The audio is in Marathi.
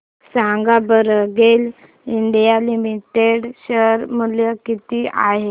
सांगा बरं गेल इंडिया लिमिटेड शेअर मूल्य किती आहे